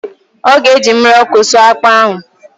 ọ ga-eji mmiri ọkụ sụọ akpụ ahụ